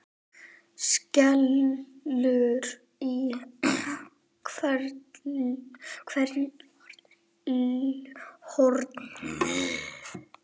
skellur í hverju horni.